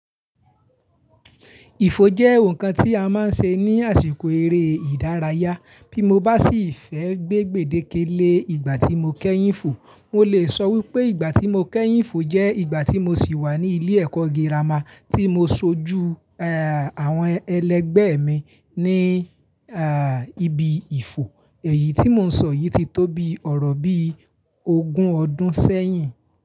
Ìfò jẹ́ ǹkan tí a máa ń ṣe ní àsìkò eré ìdárayá. Bí mo bá sì fẹ́ gbé gbèdéke lé ìgbà tí mo kẹ́yìn fò, mo lè sọ wípé ìgbà tí mo kẹ́yìn fò jẹ́ ìgbà tí mo sì wà ní ilé ẹ̀kọ́ girama tí mo sojú àwọn ẹlẹgbẹ́ mi ní ibi Ìfò. Èyí tí mò ń sọ yìí ti tó bi ọ̀rọ̀ bí ogún ọdún sẹ́yìn.